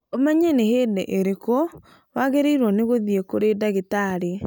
Umenye nĩ hĩndĩ ĩrĩkũ wagĩrĩirũo nĩ gũthiĩ kũrĩ ndagĩtarĩ.